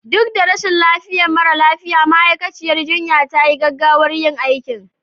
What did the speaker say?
Duk da rashin lafiyar mara lafiya, ma'aikaciyar jinya ta yi gaggawar yin aikin